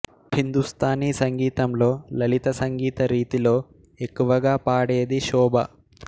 హిందుస్థానీ సంగీతంలో లలిత సంగీత రీతిలో ఎక్కువగా పాడేది శోభ